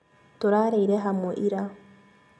Tũrarĩire hamwe ira